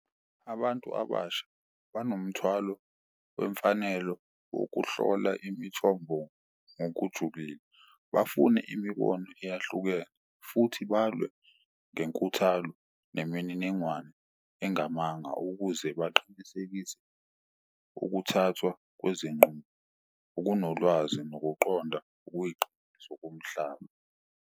Abantu abasha banomthwalo wemfanelo wokuhlola imithombo ngokujulile, bafune imibono eyahlukene futhi balwe ngenkuthalo nemininingwane engamanga ukuze baqinisekise ukuthathwa kwezinqumo okunolwazi nokuqonda zokomhlaba.